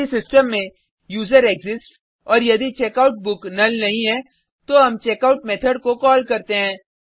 यदि सिस्टम में यूजरेक्सिस्ट्स और यदि checkout book नुल नहीं है तो हम चेकआउट मेथड को कॉल करते हैं